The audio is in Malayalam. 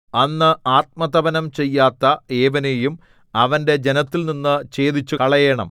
അന്ന് ആത്മതപനം ചെയ്യാത്ത ഏവനെയും അവന്റെ ജനത്തിൽനിന്നു ഛേദിച്ചുകളയേണം